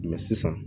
sisan